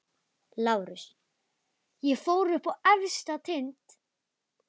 LÁRUS: Ég fór upp á efsta tind.